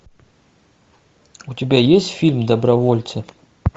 у тебя есть фильм добровольцы